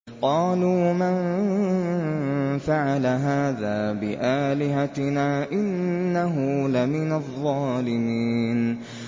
قَالُوا مَن فَعَلَ هَٰذَا بِآلِهَتِنَا إِنَّهُ لَمِنَ الظَّالِمِينَ